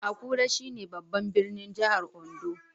Akure, shine babban birnin jihar Ondo